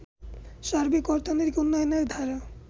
সার্বিক অর্থনৈতিক উন্নয়নের ধারা